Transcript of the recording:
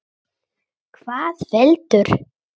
Hvað veldur?